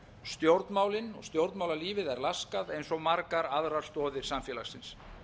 stjórnmálin og stjórnmálalífið er laskað eins og margar aðrar stoðir samfélagsins